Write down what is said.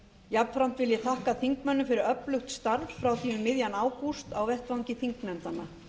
jafnframt þakka ég þingmönnum fyrir öflugt starf frá því um miðjan ágúst á vettvangi þingnefndanna